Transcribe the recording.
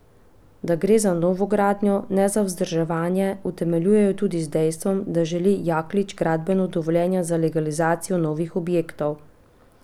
Da gre za novogradnjo, ne za vzdrževanje, utemeljujejo tudi z dejstvom, da želi Jaklič gradbeno dovoljenje za legalizacijo novih objektov.